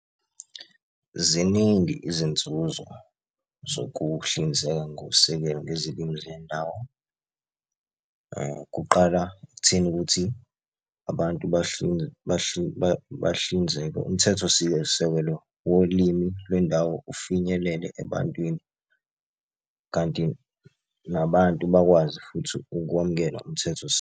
Ziningi izinzuzo zokuhlinzeka ngosekelo ngezilimi zendawo. Kuqala ekutheni ukuthi abantu bahlinzeke. Umthetho sisekelo wolimi lwendawo ufinyelele ebantwini, kanti nabantu bakwazi futhi ukwamukela umthetho .